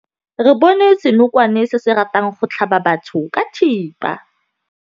Re bone senokwane se se ratang go tlhaba batho ka thipa.